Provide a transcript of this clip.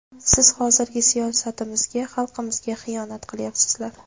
Sizlar hozirgi siyosatimizga, xalqimizga xiyonat qilyapsizlar.